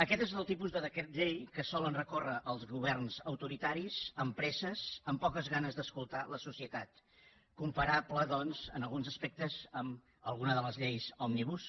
aquest és el tipus de decret llei que solen recórrer els governs autoritaris amb presses amb poques ganes d’escoltar la societat comparable doncs en alguns aspectes amb alguna de les lleis òmnibus